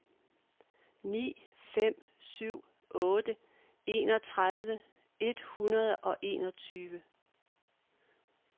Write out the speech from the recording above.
ni fem syv otte enogtredive et hundrede og enogtyve